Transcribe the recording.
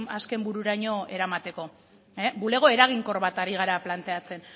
azken bururaino eramateko bulego eraginkor bat ari gara planteatzen